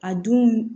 A dun